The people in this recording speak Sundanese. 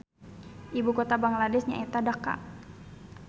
Ibu kota Bangladesh nyaeta Dhaka